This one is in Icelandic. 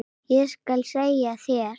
Ég skal segja þér